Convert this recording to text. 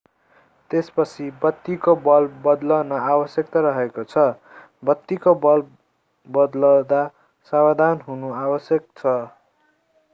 त्यसपछि बत्तीको बल्ब बदल्न आवश्यक रहेको छ बत्तीको बल्ब बदल्दा सावधान हुनु आवश्यक छ